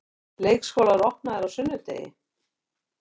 Leikskólar opnaðir á sunnudegi